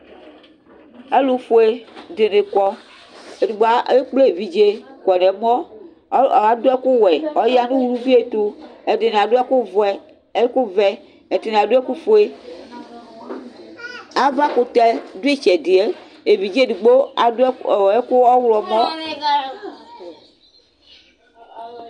Alʋfue dini kɔ, edigbo ekple evidze kɔ nʋ ɛmɔ, adʋ ɛkʋwɛ ɔya nʋ ʋvi ɛtʋ, ɛdini adʋ ɛkʋvɛ ɛdini adʋ ɛkʋfue Avakʋtɛ dʋ itsɛdi yɛ evidze edigbo adʋ ɛkʋ ɔwlɔmɔ